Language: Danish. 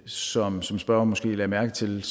som som spørgeren måske lagde mærke til